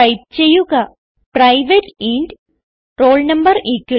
type ചെയ്യുക private enrol no50